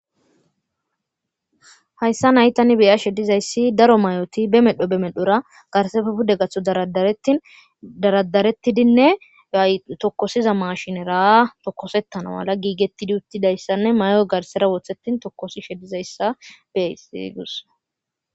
hayssa naytani beya shedizayssi daro mayoti be medho be medhora garse fepude gatho daradarettidinne ay tokkosiza mashinera tokosettana mala giigettidi uttidayssanne mayoy garsera wothetin tokkosi shedizayssa bei gus